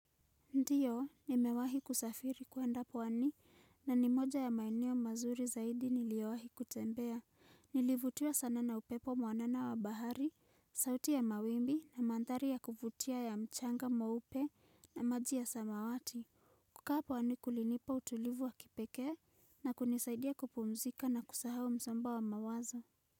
Ndio, nimewahi kusafiri kuenda pwani, na ni moja ya maeneo mazuri zaidi niliowahi kutembea. Nilivutiwa sana na upepo mwanana wa bahari, sauti ya mawimbi, na mandhari ya kuvutia ya mchanga meupe, na maji ya samawati. Kukaa pwani kulinipa utulivu wa kipekee, na kunisaidia kupumzika na kusahau msomba wa mawazo.